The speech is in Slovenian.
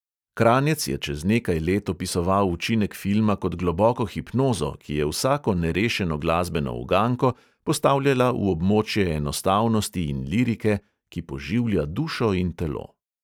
Kranjec je čez nekaj let opisoval učinek filma kot globoko hipnozo, ki je vsako nerešeno glasbeno uganko postavljala v območje enostavnosti in lirike, ki poživlja dušo in telo.